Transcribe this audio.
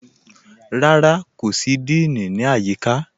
Kò sí díìní, kò sí ní ayííkà.